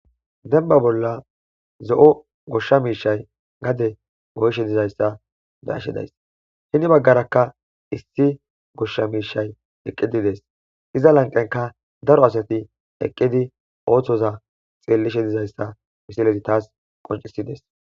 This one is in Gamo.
Denba bolla zo,o goshsha miishay gade goyshe dizayssa dayashidays hini baggarakka issi goshsha miishay eqqidides iza lanqenka daro asati eqqidi ooththoza xeellishe dizayssa misilezi taas qoncisides.